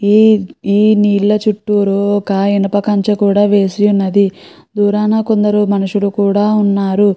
ఈ నీళ్ల చుట్టూ ఒక ఇనుప కంచు కూడా వేసి ఉన్నదీ. దురాన కొందరు మనుషుల్లు కూడా వున్నారు.